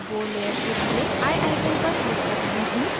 मैं bow layer के लिए eye icon पर क्लिक कर रही हूँ